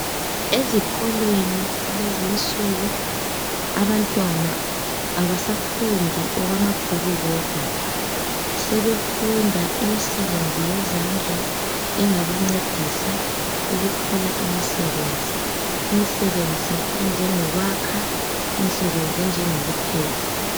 Ezikolweni kulezi insuku abantwana abasafundi okwamabhuku kodwa, sebefunda imisebenzi yezandla engabancedisa ukuthola imisebenzi, imisebenzi enjengokwakha, imisebenzi enjengokupheka.